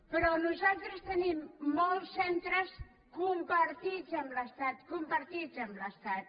però nosaltres tenim molts centres compartits amb l’estat compartits amb l’estat